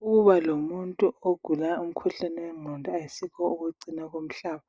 Ukuba lomuntu ogula umkhuhlane wengqondo akusikho ukucina komhlaba